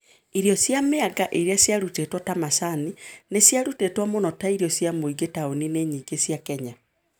Irio cia mĩanga iria ciarutĩtwo ta macani nĩ ciarutagwo mũno ta irio cia mũingĩ taũni-inĩ nyingĩ cia Kenya.